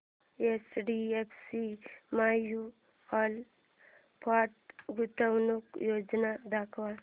HDFC mutual fund गुंतवणूक योजना दाखव